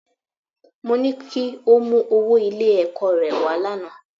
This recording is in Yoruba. Mo ní kí o mú owó Ilé-ẹ̀kọ́ rẹ wá lánàá